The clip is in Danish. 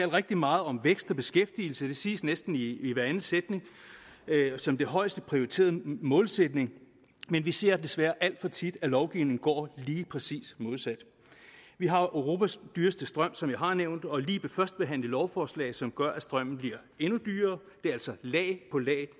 rigtig meget om vækst og beskæftigelse det siges næsten i i hveranden sætning som den højest prioriterede målsætning men vi ser desværre alt for tit at lovgivningen går lige præcis modsat vi har jo europas dyreste strøm som jeg har nævnt og lige førstebehandlet et lovforslag som gør at strømmen bliver endnu dyrere det er altså lag på lag